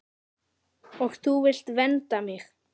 Og þú vilt vernda mig.